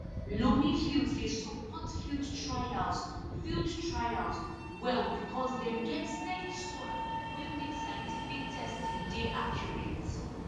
loamy fields dey support field trials field trials well because dem get steady soil wey make scientific testing dey accurate